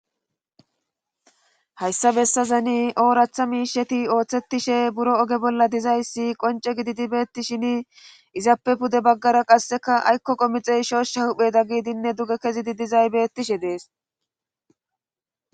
Hayssa bessazani ooraththa miisheti ooththetishe buro oge bolla dizayssi qonce gididi beettishshini izappe pude baggara qasseka aykko qomixey shooshsha hupheda giidinne duge kezidi dizay bettishe dees